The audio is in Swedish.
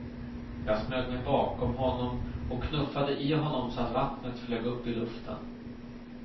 Jag smög mig bakom honom och knuffade i honom så vattnet flög upp i luften.